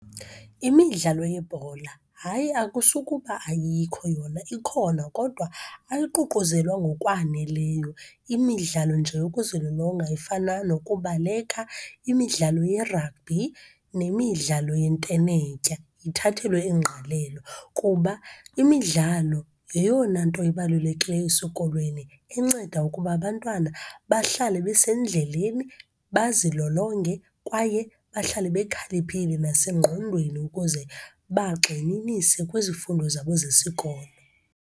Imidlalo yebhola, hayi akusukuba ayikho yona ikhona kodwa ayiququzelwa ngokwaneleyo. Imidlalo nje yokuzilolonga efana nokubaleka, imidlalo ye-rugby nemidlalo yentenetya ithathelwe ingqalelo. Kuba imidlalo yeyona nto ibalulekileyo esikolweni enceda ukuba abantwana bahlale besendleleni, bazilolonge kwaye bahlale bekhaliphile nasengqondweni ukuze bagxininise kwizifundo zabo zesikolo.